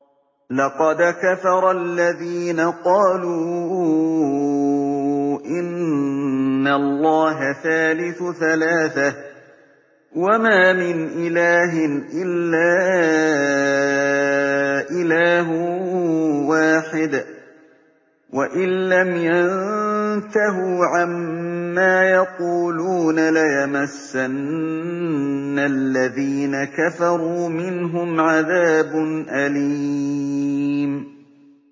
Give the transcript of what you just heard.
لَّقَدْ كَفَرَ الَّذِينَ قَالُوا إِنَّ اللَّهَ ثَالِثُ ثَلَاثَةٍ ۘ وَمَا مِنْ إِلَٰهٍ إِلَّا إِلَٰهٌ وَاحِدٌ ۚ وَإِن لَّمْ يَنتَهُوا عَمَّا يَقُولُونَ لَيَمَسَّنَّ الَّذِينَ كَفَرُوا مِنْهُمْ عَذَابٌ أَلِيمٌ